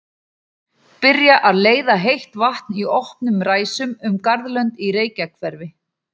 Byrjað að leiða heitt vatn í opnum ræsum um garðlönd í Reykjahverfi.